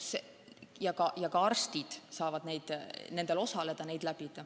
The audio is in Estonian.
Ka arstid saavad nendel osaleda.